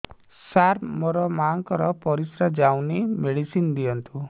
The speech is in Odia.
ସାର ମୋର ମାଆଙ୍କର ପରିସ୍ରା ଯାଉନି ମେଡିସିନ ଦିଅନ୍ତୁ